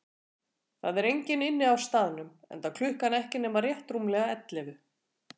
Það er enginn inni á staðnum, enda klukkan ekki nema rétt rúmlega ellefu.